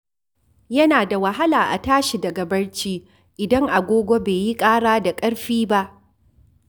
Yana da wahala a tashi daga barci idan agogo bai yi ƙara da ƙarfi ba.